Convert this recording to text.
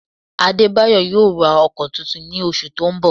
Adébáyọ̀ yóò ra ọkọ tuntun ní oṣù tó ń bọ̀